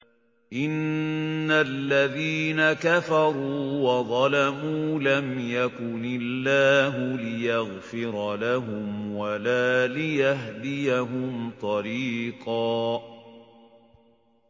إِنَّ الَّذِينَ كَفَرُوا وَظَلَمُوا لَمْ يَكُنِ اللَّهُ لِيَغْفِرَ لَهُمْ وَلَا لِيَهْدِيَهُمْ طَرِيقًا